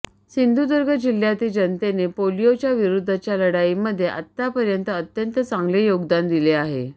सिंधुदुर्ग जिल्ह्यातील जनतेने पोलिओच्या विरुध्दच्या लढाईमध्ये आतापर्यंत अत्यंत चांगले योगदान दिले आहे